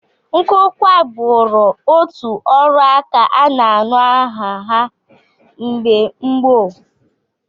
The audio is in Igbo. Nkụkwa bụụrụ otu ọrụaka a na-anụ aha ya mgbe gboo